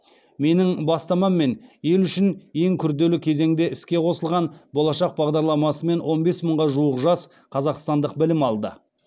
менің бастамаммен ел үшін ең күрделі кезеңде іске қосылған болашақ бағдарламасымен он бес мыңға жуық жас қазақстандық білім алды